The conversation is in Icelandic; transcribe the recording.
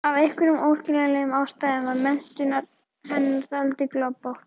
Af einhverjum óskiljanlegum ástæðum var menntun hennar dálítið gloppótt.